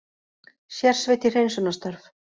Sérsveit í hreinsunarstörf